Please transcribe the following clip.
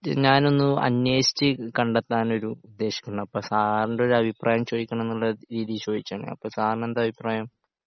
ഞാനൊന്ന് അന്വേഷിച്ച് കണ്ടെത്താനൊരു ഉദ്ദേശിക്കണ് അപ്പോ സാറിൻ്റെ ഒരു അഭിപ്രായം ചോദിക്കണംന്നുള്ള രീതിയിൽ ചോദിച്ചതാണ്. അപ്പോ സാറിന് എന്താ അഭിപ്രായം?